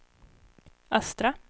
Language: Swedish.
östra